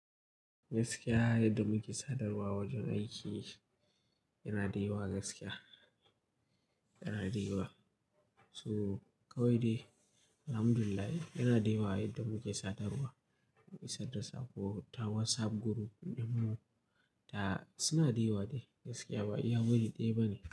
Gaskiya! Yadda muke sadarwa wajen aiki yana da yawa gaskiya, yana da yawa So kawai dai alhamdulillah yana da yawa, yadda muke sadarwa, mu yi sadarwa ta WhatsApp group ɗinmu, ta suna da yawa dai gaskiya ba iya wuri ɗaya ba ne.